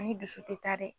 Ani dusu tɛ taa dɛ